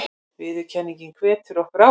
Viðurkenningin hvetur okkur áfram